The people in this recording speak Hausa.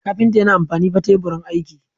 Kafinta yana amfani fa Teburin aiki.